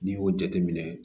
N'i y'o jateminɛ